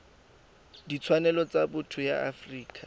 ditshwanelo tsa botho ya afrika